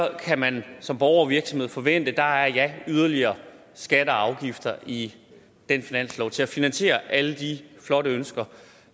kan man som borger og virksomhed forvente der er yderligere skatter og afgifter i den finanslov til at finansiere alle de flotte ønsker